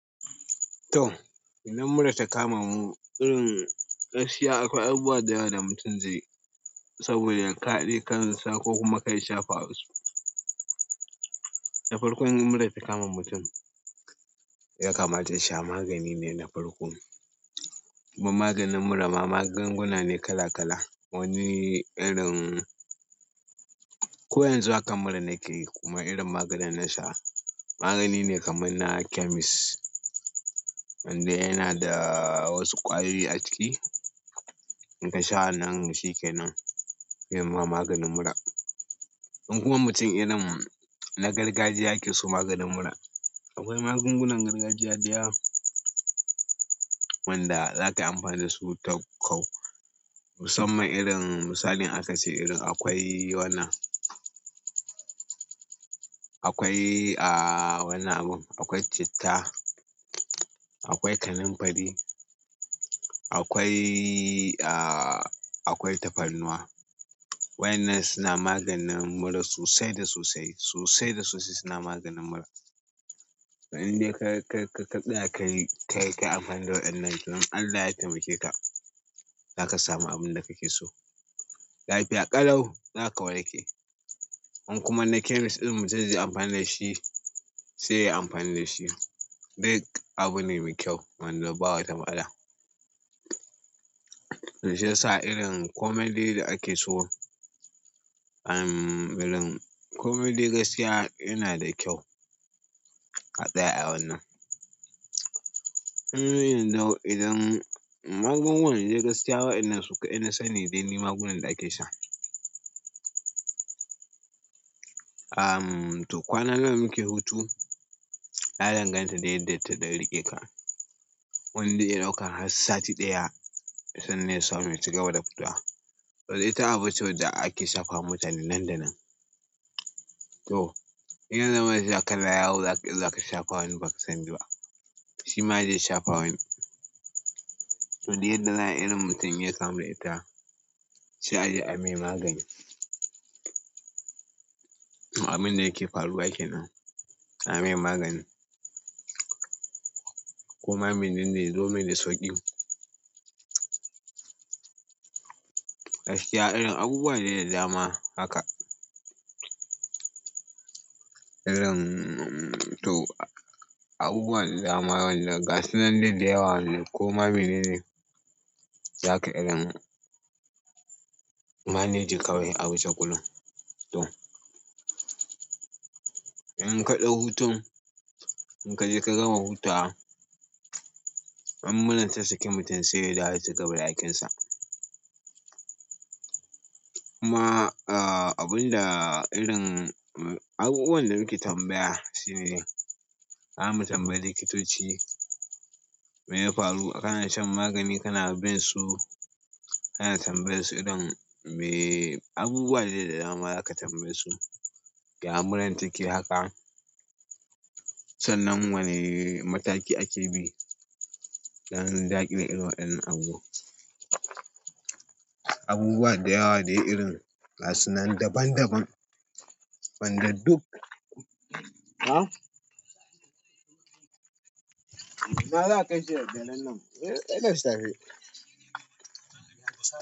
To, idan murar ta kama mu, irin gaskiya akwai abubuwa da yawa da mutum zai. Saboda ya kaɗe kansa ko kuma kai shafa wasu. Da farkon in murar ta kama mutum, ya kamata sha magani ne na farko. Kuma maganin murama magunguna ne kala-kala. Wani irin, ko yanzu haka murar nake yi kuma irin maganin na sha magani ne kamar na chemist wanda yana da wasu ƙwayoyi a ciki. In ka sha wannan shi ke nan yi ma maganin mura. In kuma mutum irin na gargajiya yake so maganin mura, akwai magungunan gargajiya da yawa wanda zaka amfani da su ta kau. Musamman irin misalin aka ce irin akwai wannan, akwai a wannan abun, akwai citta, akwai kanin fari, akwai a-akwai tafarnuwa. Waɗannan suna maganin mura sosai da sosai, sosai da sosai suna maganin mura. Inde ka-ka-kaɗa ka-ka amfani da waɗannan idan Allah ya taimake ka, zaka samu abin da kake so. Lafiya ƙalau zaka warke. In kuma na chemist irin mutum zai yi amfani da shi sai yayi amfani da shi. Duk abu ne mai kyau wanda ba wata matsala. To shitasa irin komedi da ake so, um, irin komedi gaskiya yana da kyau a tsaya a wannan. Koni yanzu idan magungunan dai gaskya sukadai nasani dai inda ake sha um, to kwana nawa muke hutu? Ya danganta dai yadda ta ɗanriƙe ka. Wanda zai iya ɗaukan har sati ɗaya sannan ya samu cigaba da hutawa. To ita abu ce wadda ake shafa wa mutane nan da nan. To, idan zama sha kala yau za-zaka shafa wani ba ka sani ba. Shi ma zai shafa wani. To duk yadda za'ayi irin mutum inya kamu da ita sai aje a mai magani abin da yake faruwa kenan a mai magani. Kuma mene ne domin sauƙi. Gaskiya irin abubuwa ne da dama haka. Irin to abubuwan da dama waɗannan gasuna dai da yawa ne kuma bene ne zaka irin manage kawai a wuce gurin. To, in ka ɗau hutun, in ka je ka gama hutawa, in murar ta sake mutum sai da ya cigaba da aikinsa. Kuma, uh, abun da irin abubuwan da muke tambaya shine ka mu tambayi likitoci me ya faru. Kana shan magani, kana bin su, kana tambaye su irin me abubuwa ne da dama za ka tambaye su yaya murar take haka. San nan wane mataki ake bi. Dan a daƙile irin waɗan nan abubuwa dayawa dai irin gasunan daban daban ban da duk. Ha? Ina zaka da daddarannan eh, sai da safe.